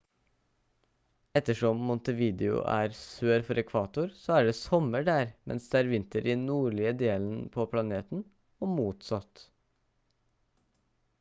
ettersom montevideo er sør for ekvator så er det sommer der mens det er vinter i den nordlige delen på planeten og motsatt